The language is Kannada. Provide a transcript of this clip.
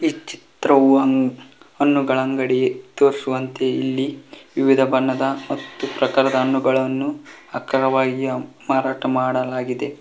ಈ ಚಿತ್ರವು ಒಂದ್ ಹಣ್ಣುಗಳ ಅಂಗಡಿಗೆ ತೋರಿಸುವಂತೆ ಇಲ್ಲಿ ವಿವಿಧ ಬಣ್ಣದ ಮತ್ತು ಪ್ರಕಾರದ ಹಣ್ಣುಗಳನ್ನು ಅಕ್ಕರವಾಗಿ ಮಾರಾಟ ಮಾಡಲಾಗಿದೆ.